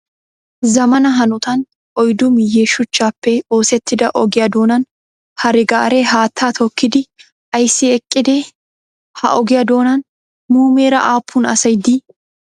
Zammaana hanotan oyddu miyye shuchchappe oosettida ogiya doonan hare gaare haatta tookkidi ayissi eqqidee? Ha ogiyaa doonan muumeera aappun asayi dii?